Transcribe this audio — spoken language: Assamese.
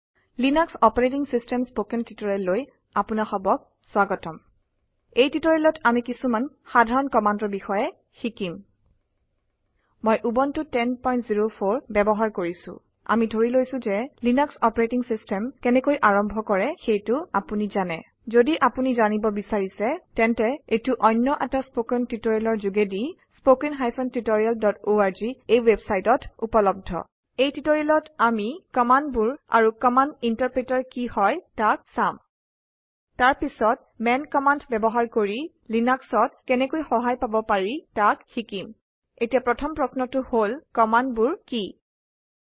লিনাস্ক অপাৰেটিং চিষ্টেম স্পকেন টিউটৰিয়েললৈ আপোনাসবক স্বাগতম। এই টিউটৰিয়েলত আমি কিছুমান সাধাৰণ কামাণ্ডৰ বিষয়ে শিকিম। মই উবুন্টো 1004 ব্যৱহাৰ কৰিছো। আদি ধৰি লৈছো ঘে লিনাস্ক অপাৰেটিং চিষ্টেম কেনেকৈ আৰম্ভ কৰে তাক আপুনি জানে। ঘদি আপোনি জানিব বিচাৰিছে তেন্তে এইটো অন্য এটা ষ্পকেন টিউটৰিয়েলৰ ঘোগেদি httpspoken tutorialorg এই ৱেবছাইটত উপলব্ধ। এই টিউটৰিয়েলত আমি কামাণ্ডবোৰ আৰু কামাণ্ড ইন্টাৰপ্ৰিতাৰ কি হয় তাক চাম তাৰ পিছত মান কামাণ্ড ব্যৱহাৰ কৰি লিনাক্সত কেনেকৈ সহায় পাব পাৰি তাক শিকিম। এতিয়া প্ৰথম প্ৰশ্নটো হল কামাণ্ডবোৰ কিৱ্হাট আৰে কমাণ্ডছ